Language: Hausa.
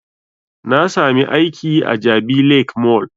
Na sami aiki a jabi lake mall